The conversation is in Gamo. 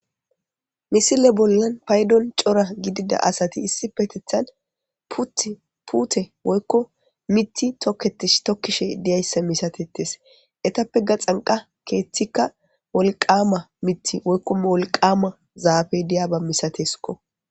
Misile bollan paydon chora gidida asati putte woykko mithi toketishe deyssa misatettes etappe gaxanqa keethi wolqama wqykko zaffey de'yaba misattekko